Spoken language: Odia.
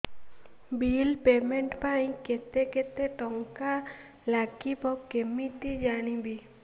ବିଲ୍ ପେମେଣ୍ଟ ପାଇଁ କେତେ କେତେ ଟଙ୍କା ଲାଗିବ କେମିତି ଜାଣିବି